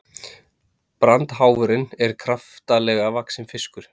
brandháfurinn er kraftalega vaxinn fiskur